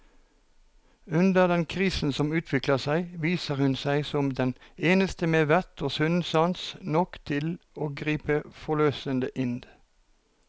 Under den krisen som utvikler seg, viser hun seg som den eneste med vett og sunn sans nok til å gripe forløsende inn.